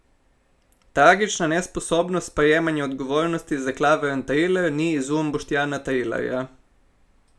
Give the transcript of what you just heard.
Tragična nesposobnost sprejemanja odgovornosti za klavrn triler ni izum Boštjana Trilarja.